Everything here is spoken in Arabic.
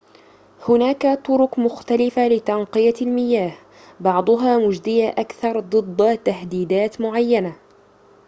هناك طرق مختلفة لتنقية المياه بعضها مجدية أكثر ضد تهديدات معينة